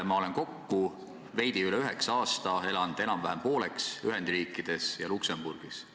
Ma olen kokku veidi üle üheksa aasta elanud enam-vähem pooleks Ühendriikides ja Luksemburgis.